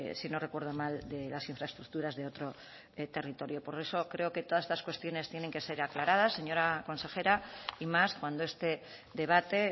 si no recuerdo mal de las infraestructuras de otro territorio por eso creo que todas estas cuestiones tienen que ser aclaradas señora consejera y más cuando este debate